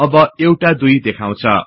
अब एउटा २ देखाउछ